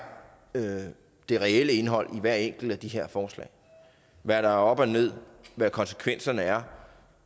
det reelle indhold i hvert enkelt af de her forslag hvad der er op og ned hvad konsekvenserne er